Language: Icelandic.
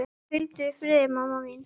Hvíldu í friði, mamma mín.